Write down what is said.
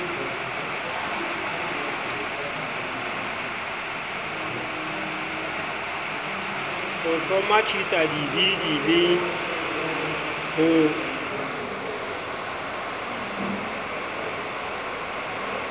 ho hlomathisa dibili le ho